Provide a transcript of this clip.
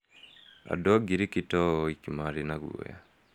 Andũ a ngiriki to o oiki maarĩ na guoya.